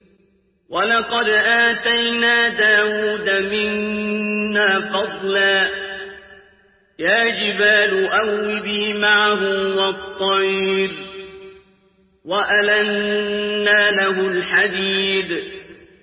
۞ وَلَقَدْ آتَيْنَا دَاوُودَ مِنَّا فَضْلًا ۖ يَا جِبَالُ أَوِّبِي مَعَهُ وَالطَّيْرَ ۖ وَأَلَنَّا لَهُ الْحَدِيدَ